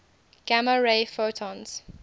gamma ray photons